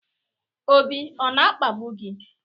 Obi ọ na-akpagbu gị?